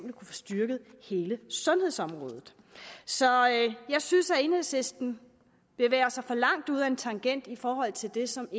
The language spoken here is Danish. at få styrket hele sundhedsområdet så jeg synes at enhedslisten bevæger sig for langt ud ad en tangent i forhold til det som